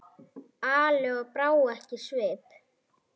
Ali og brá ekki svip.